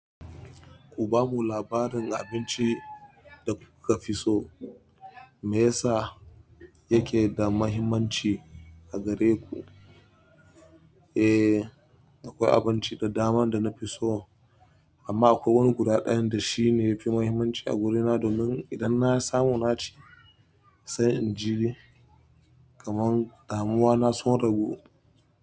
Ku ba mu labarin abinci da kuka fi so, me yasa yake da mahimmanci a gare ku? Eh, akwai abinci da daman da na fi so, amma akwai wani guda ɗayan da shi ne ya fi mahimmanci a guri na domin idan na samu na ci, sai in ji kaman damuwa na sun ragu.